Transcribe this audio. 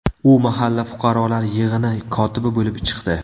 U mahalla fuqarolar yig‘ini kotibi bo‘lib chiqdi.